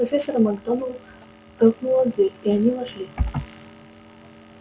профессор макгонагалл толкнула дверь и они вошли